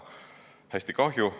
Hästi kahju.